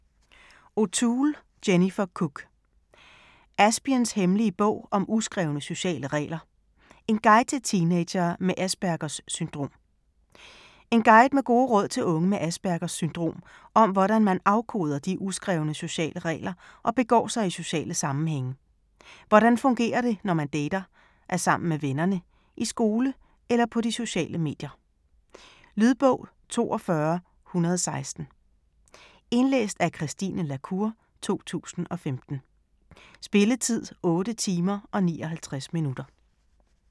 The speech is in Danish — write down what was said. O'Toole, Jennifer Cook: Aspiens hemmelige bog om uskrevne sociale regler: en guide til teenagere med Aspergers syndrom En guide med gode råd til unge med Aspergers syndrom om hvordan man afkoder de uskrevne sociale regler og begår sig i sociale sammenhænge. Hvordan fungerer det, når man dater, er sammen med vennerne, i skole eller på de sociale medier? Lydbog 42116 Indlæst af Christine la Cour, 2015. Spilletid: 8 timer, 59 minutter.